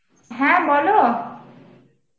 হ্যাঁ বল!